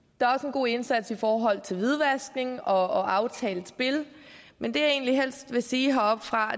god indsats i forhold til hvidvaskning og aftalt spil men det jeg egentlig helst vil sige heroppefra